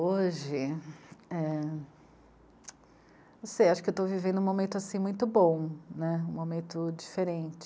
hoje, é... não sei, acho que eu estou vivendo um momento, assim, muito bom, né, um momento diferente.